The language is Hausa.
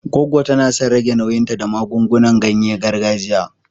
Goggo ta na son rage nauyinta da magungunan ganye gargajiya.